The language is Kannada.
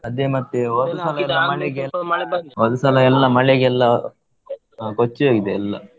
ಅದೇ ಮತ್ತೆ ಹೋದ ಸಲ ಮಳೆಗೆ, ಹೋದ ಸಲ ಎಲ್ಲಾ ಮಳೆಗೆಲ್ಲ ಕೊಚ್ಚಿ ಹೋಗಿದೆಯೆಲ್ಲಾ.